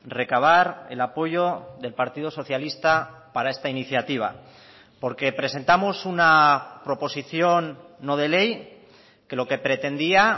recabar el apoyo del partido socialista para esta iniciativa porque presentamos una proposición no de ley que lo que pretendía